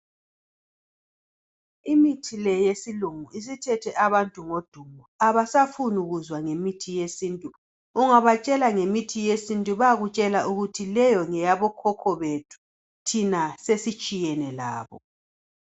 Imithi le yesilungu isithethe abantu ngodumo, abasafuni kuzwa ngemithi yesintu. Ungabatshela ngemithi yesintu bayakutshela ukuthi leyo ngeyabokhokho bethu thina sesitshiyene labo.